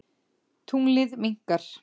Tunglið minnkar.